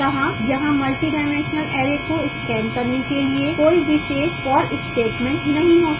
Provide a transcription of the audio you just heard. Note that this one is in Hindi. अतः यहाँ multidimensional array को scan करने के लिए कोई विशेष for statement नहीं हो सकता है